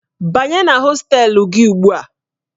Banye na hostelu gị ugbu a!